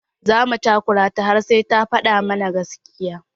Za mu takura ta har sai ta faɗa mana gaskiya.